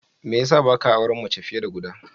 Me ya sa ba ka auren mace fiye da guda?